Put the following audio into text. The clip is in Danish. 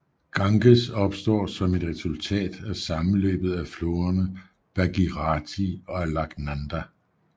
Ganges opstår som resultatet af sammenløbet af floderne Bhagirathi og Alaknanda